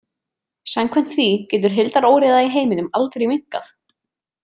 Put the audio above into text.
Samkvæmt því getur heildaróreiða í heiminum aldrei minnkað.